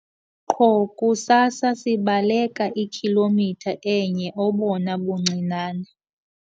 Qho kusasa sibaleka ikhilomitha enye obona buncinane.